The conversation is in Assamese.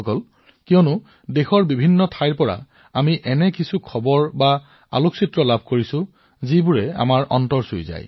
বন্ধুসকল এয়াও ঠিক দেশৰ প্ৰতিটো কোণৰ পৰা আমি এনে বাতৰি শুনি আছো আমাৰ হৃদয় স্পৰ্শ কৰা ছবি দেখি আছো